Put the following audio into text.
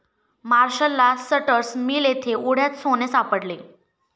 मार्शाल्ला Sutter's mill येथे ओढ्यात सोने सापडले.